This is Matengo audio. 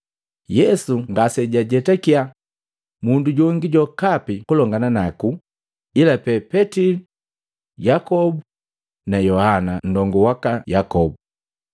Yesu ngase jajetakiya mundu jongi jokapi kulongana naku ila pee Petili, Yakobu na Yohana nndongu waka Yakobu.